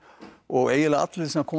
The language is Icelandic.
og eiginlega allir sem koma